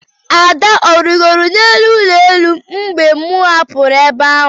Ada ọ rịgoro n'elu ụlọ elu mgbe m hapụrụ ebe ahụ?